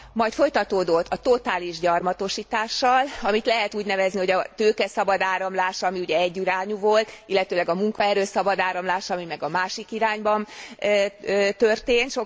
Majd folytatódott a totális gyarmatosítással, amit lehet úgy nevezni, hogy a tőke szabad áramlása, ami ugye egyirányú volt, illetőleg a munkaerő szabad áramlása, ami meg a másik irányba történt.